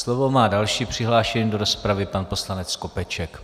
Slovo má další přihlášený do rozpravy, pan poslanec Skopeček.